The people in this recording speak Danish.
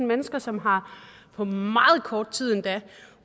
mennesker som på meget kort tid endda har